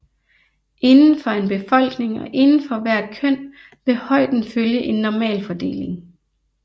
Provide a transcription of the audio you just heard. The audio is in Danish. Indenfor en befolkning og indenfor hvert køn vil højden følge en normalfordeling